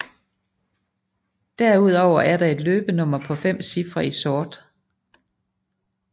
Derudover er der et løbenummer på 5 cifre i sort